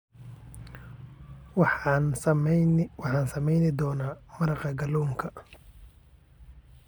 Waxaan samayn doonaa maraqa kalluunka